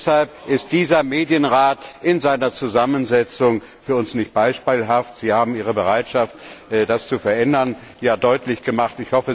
Deshalb ist dieser Medienrat in seiner Zusammensetzung für uns nicht beispielhaft. Sie haben Ihre Bereitschaft, das zu verändern, ja deutlich gemacht.